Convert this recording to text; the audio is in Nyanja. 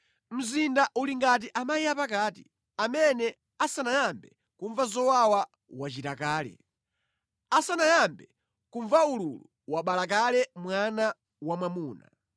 “Mzinda uli ngati amayi apakati amene asanayambe kumva zowawa wachira kale; asanayambe kumva ululu, wabala kale mwana wamwamuna.